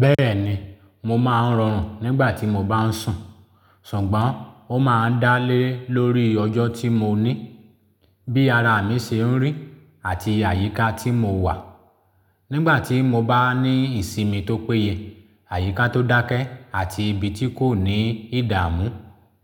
Bẹ́ẹ̀ni, mo máa ń rọrùn nígbà tí mo bá ń sùn, ṣùgbọ́n ó máa ń dá lé lórí ọjọ́ tí mo ní, bí ara mi ṣe ń rí àti àyíká tí mo wà. Nígbà tí mo bá ní ìsinmi tó péye, àyíká tó dákẹ́ àti ibi tí kò ní ìdààmú,